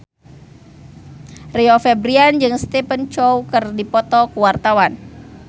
Rio Febrian jeung Stephen Chow keur dipoto ku wartawan